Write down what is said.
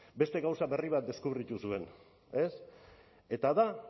beste gauza berri bat deskubritu zuen ez eta da